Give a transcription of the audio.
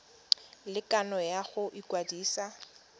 le kgano ya go ikwadisa